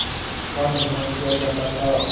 का निर्माण किया जाता था